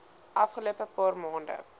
afgelope paar maande